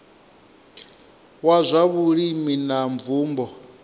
wa zwa vhulimi na mvumbo